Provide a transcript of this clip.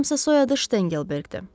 Yanılmıramsa soyadı Ştengelberqdir.